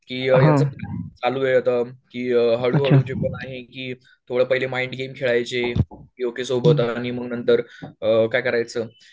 की चालू एवढं की तुला पाहिलं माईंड गेम खळायचे युकेसोबत आणि म्हणून नंतर काय करायच